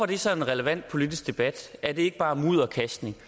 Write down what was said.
det så en relevant politisk debat er det ikke bare mudderkastning